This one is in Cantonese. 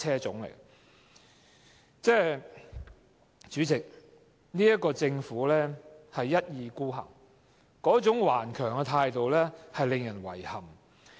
主席，政府一意孤行，頑強的態度令人感到遺憾。